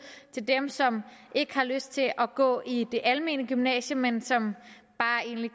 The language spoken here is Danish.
til dem som ikke har lyst til at gå i det almene gymnasium men som bare egentlig